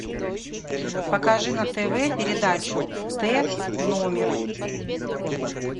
покажи на тв передачу т номер